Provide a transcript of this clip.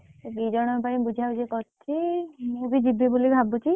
ସେ ଦି ଜଣଙ୍କ ପାଇଁ ବୁଝା ବୁଝି କରୁଛି, ଆଉ ମୁଁ ବି ଯିବି ବୋଲି ଭାବୁଛି।